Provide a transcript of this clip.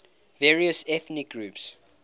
various ethnic groups